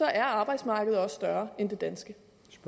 er arbejdsmarkedet også større end det danske